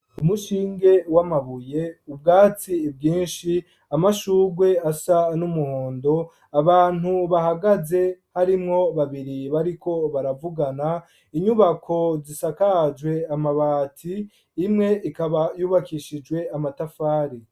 Umushinge, w'Amabuye, ubwatsi bwi inshi ,Amashugwe asa, n'umuhondo, Abantu bahagaze, harimwo babiri bariko baravugana, inyubako zisakajwe ,Amabati , Imwe ikaba yubakishijwe Amatafari.